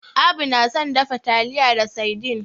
Abu na son dafa taliya da saidin.